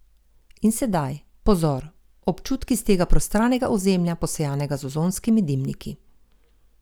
In sedaj, pozor, občutki s tega prostranega ozemlja, posejanega z ozonskimi dimniki.